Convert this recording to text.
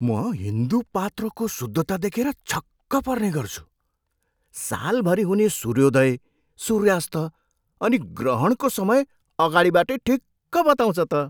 म हिन्दू पात्रोको शुद्धता देखेर छक्क पर्ने गर्छु। सालभरि हुने सूर्योदय, सूर्यास्त अनि ग्रहणको समय अगाडिबाटै ठिक्क बताउँछ त!